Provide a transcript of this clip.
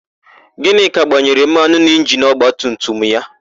Gịnịka gbanyere mmanụ n'injinu ọgbatumtum ya.